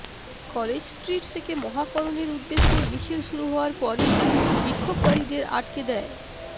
College Street থেকে মহাকরণের উদ্দেশে মিছিল শুরু হওয়ার পরই বিক্ষোভকারীদের আটকে দেয়